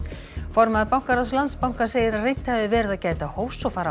formaður bankaráðs Landsbankans segir að reynt hafi verið að gæta hófs og fara